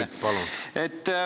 Küsimus, palun!